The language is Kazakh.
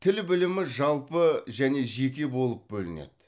тіл білімі жалпы және жеке болып бөлінеді